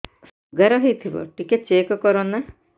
sugar ହେଇଥିବ ଟିକେ check କର ନା